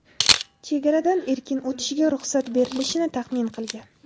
chegaradan erkin o‘tishiga ruxsat berilishini taxmin qilgan.